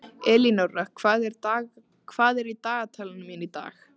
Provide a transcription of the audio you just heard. Elínóra, hvað er í dagatalinu mínu í dag?